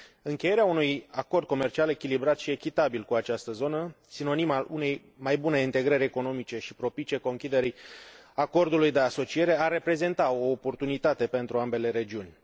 Încheierea unui acord comercial echilibrat și echitabil cu această zonă, sinonim al unei mai bune integrări economice și propice conchiderii acordului de asociere, are reprezenta o oportunitate pentru ambele regiuni.